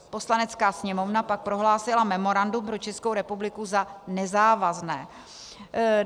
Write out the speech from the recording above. Poslanecká sněmovna pak prohlásila memorandum pro Českou republiku za nezávazné.